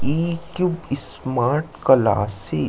ई क्वीब smart classes हे।